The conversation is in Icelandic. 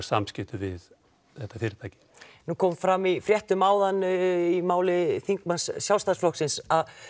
samskipti við þetta fyrirtæki nú kom fram í fréttum áðan í máli þingmanns Sjálfstæðisflokksins að